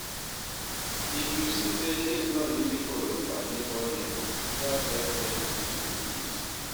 If yu see say tins no easy for yur padi or neibor, try help dem if yu fit